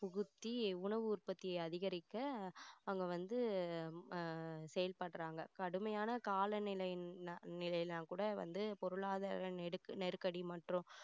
புகுத்தி உணவு உற்பத்தியை அதிகரிக்க அவங்க வந்து அஹ் செயல்படுறாங்க கடுமையான கால நிலை~நிலையிலலாம் கூட வந்து பொருளாதார நெரு~நெருக்கடி மற்றும்